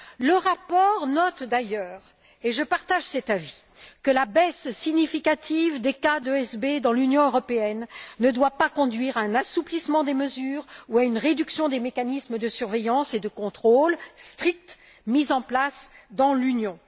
Le rapport note d'ailleurs et je partage cet avis que la baisse significative des cas d'ESB dans l'Union européenne ne doit pas conduire à un assouplissement des mesures ou à une réduction des mécanismes de surveillance et de contrôle stricts mis en place dans l'Union.